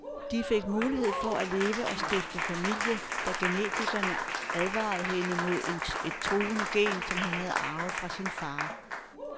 De fik mulighed for at leve og stifte familie, da genetikerne advarede hende mod et truende gen, som hun har arvet fra sin far.